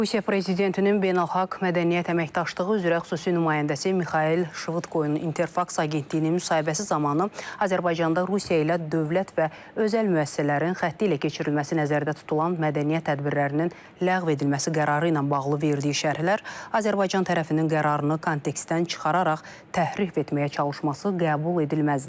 Rusiya prezidentinin beynəlxalq mədəniyyət əməkdaşlığı üzrə xüsusi nümayəndəsi Mixail Şvıdkoyun İnterfaks agentliyinə müsahibəsi zamanı Azərbaycanda Rusiya ilə dövlət və özəl müəssisələrin xətti ilə keçirilməsi nəzərdə tutulan mədəniyyət tədbirlərinin ləğv edilməsi qərarı ilə bağlı verdiyi şərhlər Azərbaycan tərəfinin qərarını kontekstdən çıxararaq təhrif etməyə çalışması qəbul edilməzdir.